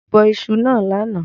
Mo bọ isu náà lánàá